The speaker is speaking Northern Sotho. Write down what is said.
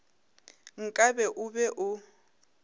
nka be o be o